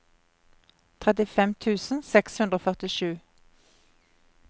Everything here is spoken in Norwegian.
trettifem tusen seks hundre og førtisju